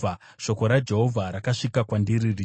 Shoko raJehovha rakasvika kwandiri richiti,